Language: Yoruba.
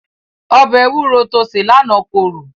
Ọbẹ̀ ewúro to sè lánàá korò.